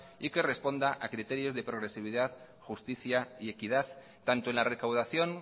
y que responda a criterios de progresividad justicia y equidad tanto en la recaudación